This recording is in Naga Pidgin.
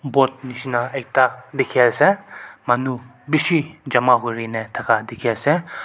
boat nishina ekta dikhiase manu bishi jama kurine thaka dikhiase.